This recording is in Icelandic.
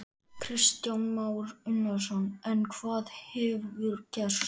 Kristján Már Unnarsson: En hvað hefur gerst?